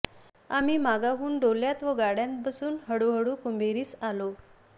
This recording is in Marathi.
आह्मी मागाहून डोल्यांत व गाड्यांत बसून हळू हळू कुंभेरीस आलों